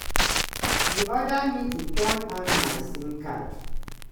e order me to turn on my sim card."